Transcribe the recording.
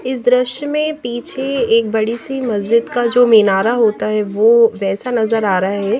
इस दृश्य में पीछे एक बड़ी सी मस्जिद का जो मीनारा होता है वो वैसा नज़र आ रहा है ये --